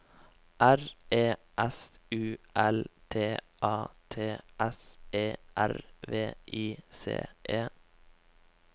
R E S U L T A T S E R V I C E